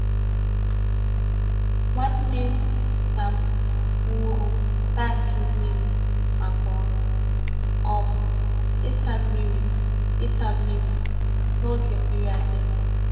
nwanne nna m wuru tankị mmiri maka ọrụ um ịsa mmiri ịsa mmiri n’oge mmiri adịghị.